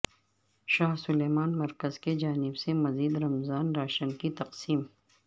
شاہ Salman مرکز کی جانب سے مزید رمضان راشن کی تقسیم